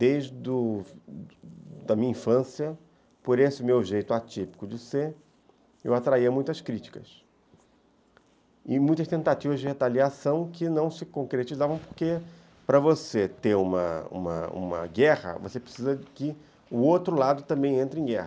Desde do, da minha infância, por esse meu jeito atípico de ser, eu atraía muitas críticas e muitas tentativas de retaliação que não se concretizavam porque, para você ter uma uma uma guerra, você precisa que o outro lado também entre em guerra.